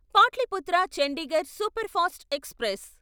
Pataliputra Chandigarh superfast express